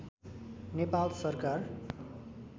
नेपाल सरकार